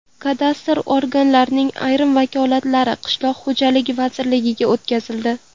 Kadastr organlarining ayrim vakolatlari Qishloq xo‘jaligi vazirligiga o‘tkazildi.